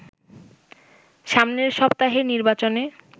সামনের সপ্তাহের নির্বাচনে